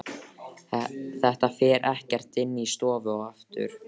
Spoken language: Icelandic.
Þetta fer ekkert inn í stofu aftur!